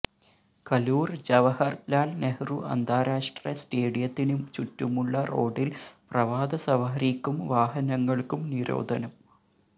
കലൂർ ജവഹർലാൽ നെഹ്റു അന്താരാഷ്ട്ര സ്റ്റേഡിയത്തിന് ചുറ്റുമുള്ള റോഡിൽ പ്രഭാതസവാരിയ്ക്കും വാഹനങ്ങൾക്കും നിരോധനം